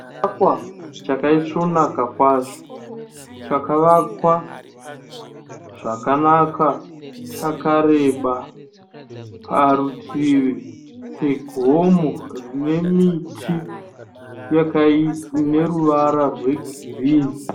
Chivakwa chakaisvonaka kwazvo, chakavakwa zvakanaka chakareba. Parutivi pegomo rine miti ineruvara rwegirini